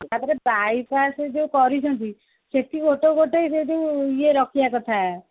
by pass ଯୋଉ କରିଛନ୍ତି ସେଠି ଗୋଟେ ଗୋଟେ ଯୋଉ ଇଏ ରଖିବା କଥା